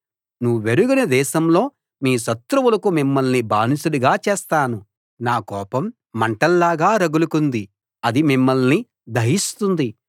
నువ్వెరుగని దేశంలో మీ శత్రువులకు మిమ్మల్ని బానిసలుగా చేస్తాను నా కోపం మంటల్లాగా రగులుకుంది అది మిమ్మల్ని దహిస్తుంది